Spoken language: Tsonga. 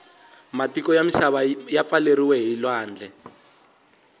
matiko yamisana yapfaleriwe hhilwandle